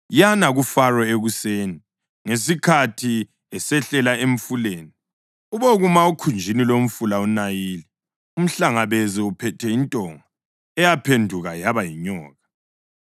Yana kuFaro ekuseni, ngesikhathi esehlela emfuleni. Ubokuma okhunjini lomfula uNayili, umhlangabeze uphethe intonga eyaphenduka yaba yinyoka.